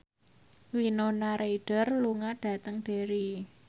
Winona Ryder lunga dhateng Derry